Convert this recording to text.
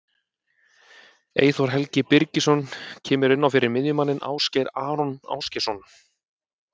Eyþór Helgi Birgisson kemur inn á fyrir miðjumanninn Ásgeir Aron Ásgeirsson.